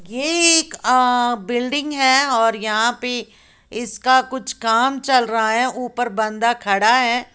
ये एक बिल्डिंग है और यहां पे इसका कुछ काम चल रहा है ऊपर बंदा खड़ा है।